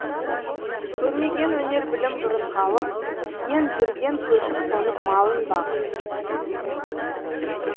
көрмеген өнер білім бұрын халық иен жүрген көшіп қонып малын бағып